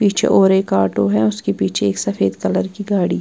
पीछे और एक आटो है उसके पीछे एक सफेद कलर की गाड़ी--